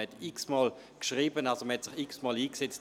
Man hat unzählige Male geschrieben und sich eingesetzt.